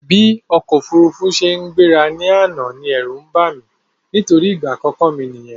Bí ọ̀kọ̀ ofúrufú ṣe gbéra ní àná ní ẹ̀rú bàmí nítorí ìgbà àkọ́kọ́ mi nìyẹn